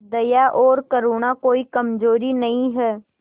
दया और करुणा कोई कमजोरी नहीं है